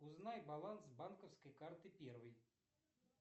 узнай баланс банковской карты первой